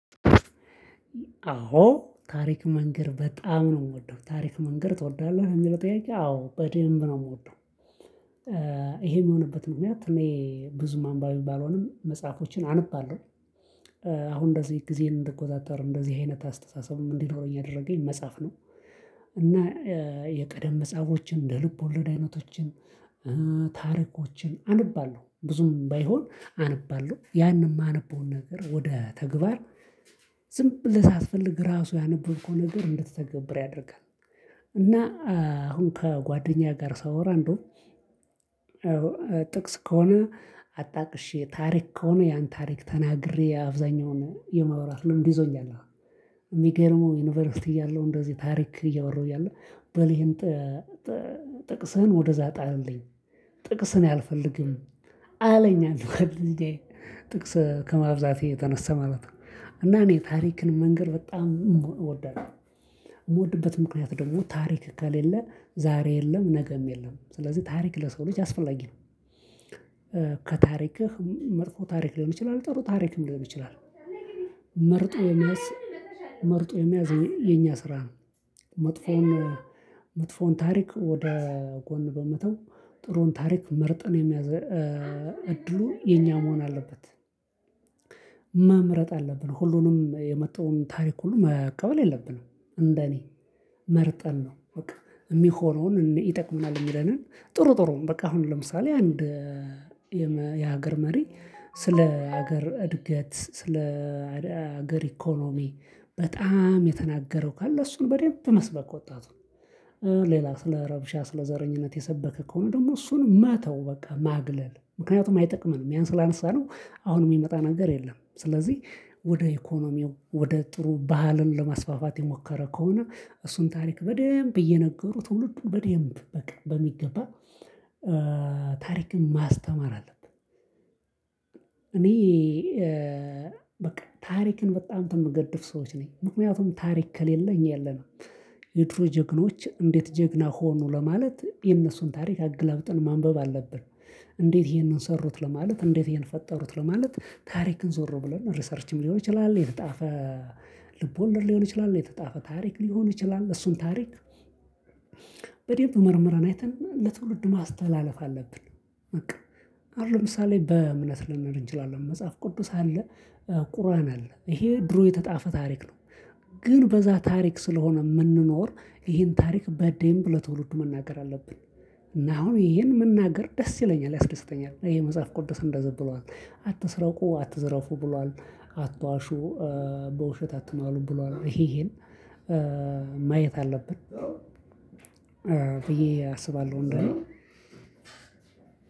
አዎ ታሪክ መንገር በጣም ነው የምወደው። ታሪክ መንገር ትወዳለህ? ለሚለው ጥያቄ አዎ በደንብ ነው የምወደው፤ ይሄ የሚሆንበት ምክንያትት እኔ ብዙም አንባቢው ባልሆንም መጽሐፎችን አንብባለሁ። አሁን እንደዚህ ጊዜን እንድቆጣጠር፣ እንደዚህ አይነት አስተሳሰብም እንዲኖረኝ ያደረገኝ መጽሐፍ ነው። እና የቀደም መጽሐፎችን፣ እንደ ልብ ወለድ አይነቶችን፣ ታሪኮችን አነባለሁ። ብዙም ባይሆን አነባለሁ። ያንን የማነበውን ነገር ወደ ተግባር ዝም ብለህ ሳትፈልግ ራሱ ያነበብከው ነገር እንድትተገብር ያደርጋል። እና አሁን ከጓደኛ ጋር ሳወራ እንደው ጥቅስ ከሆነ አጣቅሼ፣ ታሪክ ከሆነ ያን ታሪክ ተናግሬ አብዛኛውን የመዋራት ልምድ ይዞኛል አሁን፤ የሚገርመው ዩኒቨርሲቲ እያለሁ እንደዚህ ታሪክ እያወራሁ እያለ በልይጠ ጥቅስህን ወደእዛ ጣልልኝ አለኝ ጥቅስ አልፈልግም አለኝ አንድ ጓደኛዬ ጥቅስ ከማብዛቴ የተነሳ ማለት ነው እና እኔ ታሪክን መንገድ በጣም እወዳለሁ የምወድበት ምክንያት ደግሞ ታሪክ ከሌለ ዛሬ የለም ነገም የለም ስለዚህ ታሪክ ለሰው ልጅ አስፈላጊ ነው ከታሪክህ መጥፎ ታሪክ ሊሆን ይችላል ጥሩ ታሪክ ሊሆን ይችላል መርጦ የመያዝ መርጦ የመያዝ የኛ ስራ ነው መጥፎውን መጥፎውን ታሪክ ወደ ጎን በመተው ጥሩን ታሪክ መርጠን የሚያዝን እድሉ የኛ መሆን አለበት መምረጥ አለብን ሁሉንም የመጣውን ታሪክ ሁሉ መቀበል የለብንም እንደኔ መርጠን ነው በቃ የሚሆነውን ይጠቅመናል የሚለንን ጥሩ ጥሩም በቃ አሁን ለምሳሌ አንድ የሆነ የሀገር መሪ ስለ ሀገር እድገት ስለ ሀገር ኢኮኖሚ በጣም የተናገረው ካለ እሱን በደንብ መስበክ ወጣት ነው ሌላ ስለ ረብሻ ስለ ዘረኝነት የሰበከ ከሆነ ደግሞ እሱን ማተው በቃ ማግለል ምክንያቱም አይጠቅምም ያን ስላነሳነው አሁንም የሚመጣ ነገር የለም ስለዚህ ወደ ኢኮኖሚው ወደ ጥሩ ባህልን ለማስፋፋት የሞከረ ከሆነ እሱን ታሪክ በደንብ እየነገሩ ትውልዱ በደንብ በቃ በሚገባ ታሪክን ማስተማር አለብን እኔ በቃ ታሪክን በጣም የምገድፍ ሰዎች ነኝ ምክንያቱም ታሪክ ከሌለኝ እኛ የለንም የድሮ ጀግኖች እንዴት ጀግና ሆኖ ለማለት የነሱን ታሪክ አገላብጥን ማንበብ አለብን እንዴት ይሄንን ሰሩት ለማለት እንዴት ይሄን ፈጠሩት ለማለት ታሪክን ዞሮ ብለን ሪሰርችም ሊሆን ይችላል የተጣፈ ልብወለድ ሊሆን ይችላል የተጣፈ ታሪክ ሊሆን ይችላል እሱን ታሪክ በደንብ መርምረን አይተን ለትውልድ ማስተላለፍ አለብን በቃ አሁን ለምሳሌ በእምነት ልንል እንችላለን መጽሐፍ ቅዱስ አለ ቁርአን አለ ይሄ ድሮ የተጣፈ ታሪክ ነው ግን በዛ ታሪክ ስለሆነ የምንኖር ይሄን ታሪክ በዴምብ ለትውልድ መናገር አለብን እና አሁን ይሄን መናገር ደስ ይለኛል ያስደስተኛል ይሄ መጽሐፍ ቅዱስ እንደዘበሏል አትስረቁ አትዝረፉ ብሏል አትዋሹ በውሸት አትሟሉ ብሏል ይሄን ማየት አለብን ብዬ አስባለሁ እንደው